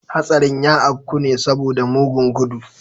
Hastarin ya afku ne saboda mugun gudu.